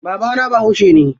Babana bahaushe ne.